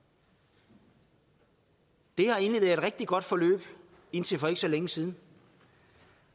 det har egentlig rigtig godt forløb indtil for ikke så længe siden